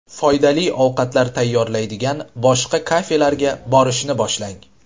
Foydali ovqatlar tayyorlaydigan boshqa kafelarga borishni boshlang .